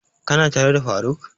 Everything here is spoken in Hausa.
Ka na tare da faruk?